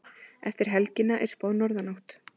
Eftir helgina er spáð norðanátt